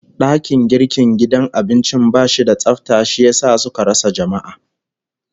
Dakin girkin gidan abincin bashi da tsafta, shi yasa suka rasa jama'a